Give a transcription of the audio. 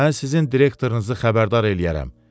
Mən sizin direktorunuzu xəbərdar eləyərəm.